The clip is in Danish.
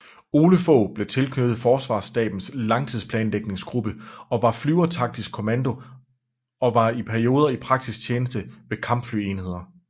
Ole Fogh blev tilknyttet Forsvarsstabens Langtidsplanlægningsgruppe og Flyvertaktisk Kommando og var i perioder i praktisk tjeneste ved kampflyenheder